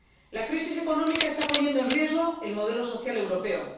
La crisis económica está poniendo en riesgo el modelo social europeo.